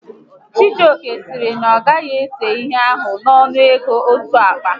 Chijioke sịrị na ya agaghị ese ihe ahụ n'ọnụ ego otu akpa